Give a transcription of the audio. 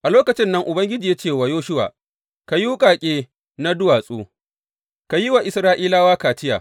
A lokacin nan Ubangiji ya ce wa Yoshuwa, Ka yi wuƙaƙe na duwatsu ka yi wa Isra’ilawa kaciya.